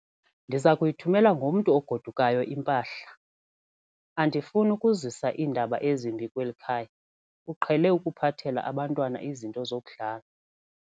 Ndiza kuyithumela ngomntu ogodukayo impahla. Andifuni ukuzisa iindaba ezimbi kweli khaya, uqhele ukuphathela abantwana izinto zokudlala.